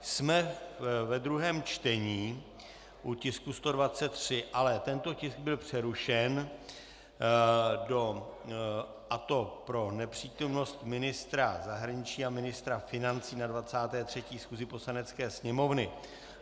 Jsme ve druhém čtení u tisku 133, ale tento tisk byl přerušen, a to pro nepřítomnost ministra zahraničí a ministra financí na 23. schůzi Poslanecké sněmovny.